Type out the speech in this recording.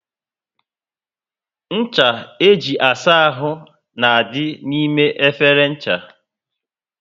Ncha e ji asa áhù na dị n'ime efere ncha